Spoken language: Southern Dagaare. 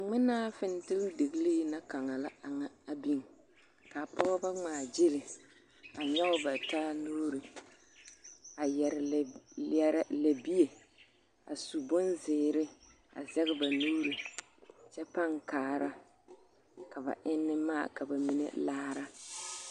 Ŋmenaa figetelidegri na kaŋa la a kaŋa a biŋ kaa pɔgeba ŋma gyile a nyoŋ ba taa nuure a yeere lɛbi lɛre lɛbie a su bonziiri a zage ba nuure kyɛ paa kaare ka ba enne maa ka bamine laare.